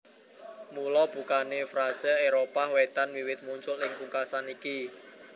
Mula bukané frase Éropah Wétan wiwit muncul ing pungkasan iki